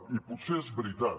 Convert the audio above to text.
i potser és veritat